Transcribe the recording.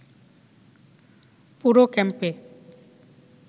পুরো ক্যাম্পে